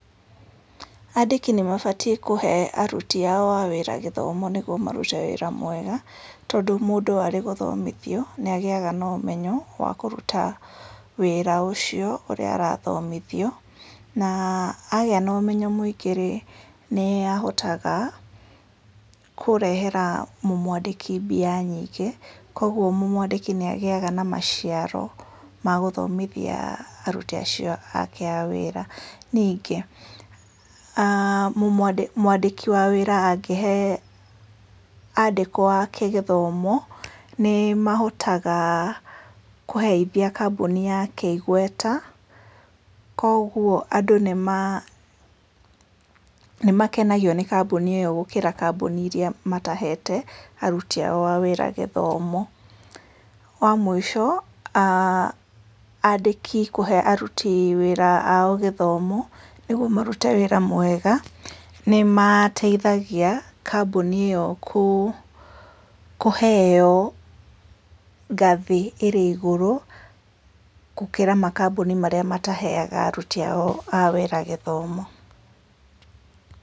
Andĩki nĩ mabatiĩ kũhe aruti ao a wĩra gĩthomo nĩguo marute wĩra mwega, tondũ mũndũ arĩ gũthomithio nĩ agĩaga na ũmenyo wa kũruta wĩra ũcio ũrĩa arothomithio. Na agĩa na ũmenyo mũingĩ rĩ, nĩ ahotaga kũrehera mũmũandĩki mbia nyĩngĩ. Kogwo mũmũandĩki nĩ agĩaga na maciaro ma gũthomithia aruti acio ake a wĩra. Ningĩ mũandĩki wa wira angĩhe andĩkwo ake gĩthomo, nĩ mahotaga kũheithia kambuni nyake igweta, kogwo andũ nĩ makenagio ni kambuni iyo gũkĩra kambuni iria matahete aruti ao a wĩra gĩthomo. Wa mũico andĩki kuhe aruti wĩra ao gĩthomo, nĩguo marute wĩra mwega, nĩ mateithagia kambuni iyo kũheyo ngathĩ ĩrĩ igũrũ gũkĩra makambuni marĩa mataheaga aruti ao a wĩra gĩthomo.